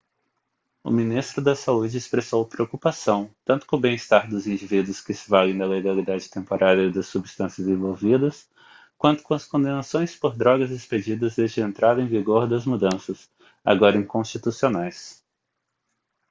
o ministro da saúde expressou preocupação tanto com o bem-estar dos indivíduos que se valem da legalidade temporária das substâncias envolvidas quanto com as condenações por drogas expedidas desde a entrada em vigor das mudanças agora inconstitucionais